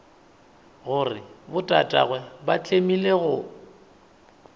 gore botatagwe ba tlemile go